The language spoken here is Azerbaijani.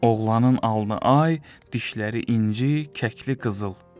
Oğlanın alnı ay, dişləri inci, kəkli qızıl.